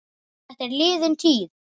Þetta er liðin tíð.